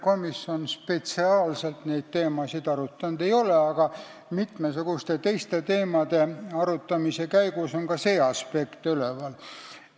Komisjon seda teemat spetsiaalselt arutanud ei ole, aga mitmesuguste teiste teemade arutamise käigus on ka see aspekt üleval olnud.